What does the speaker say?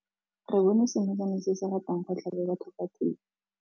Re bone senokwane se se ratang go tlhaba batho ka thipa.